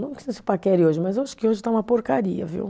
Não que não se paquere hoje, mas eu acho que hoje está uma porcaria, viu?